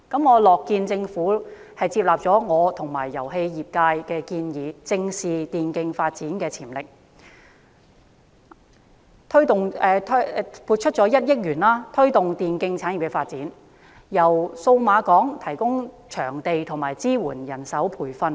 我樂見政府接納我和遊戲業界的建議，正視電競發展的潛力，撥出1億元推動電競產業的發展，由數碼港提供場地和支援人手培訓。